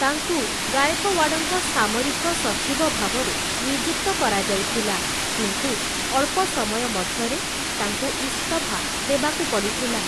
ତାଙ୍କୁ ଗାଇକୱାଡ଼ଙ୍କ ସାମରିକ ସଚିବ ଭାବରେ ନିଯୁକ୍ତ କରାଯାଇଥିଲା କିନ୍ତୁ ଅଳ୍ପ ସମୟ ମଧ୍ୟରେ ତାଙ୍କୁ ଇସ୍ତଫା ଦେବାକୁ ପଡ଼ିଥିଲା ।